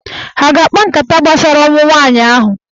Ha a ga-akpa nkata gbasara ọnwụ nwaanyị ahụ?